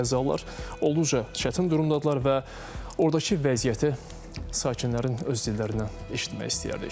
Qəzzalılar olduqca çətin durumdadırlar və ordakı vəziyyəti sakinlərin öz dillərindən eşitmək istəyərdik.